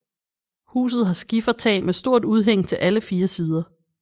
Huset har skifertag med stort udhæng til alle fire sider